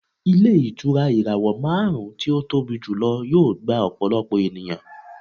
Ilé ìtura ìràwọ̀ márùn-ún tí ó tóbi jùlọ yóò gba ọ̀pọ̀lọpọ̀ ènìyàn